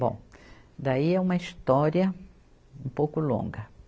Bom, daí é uma história um pouco longa.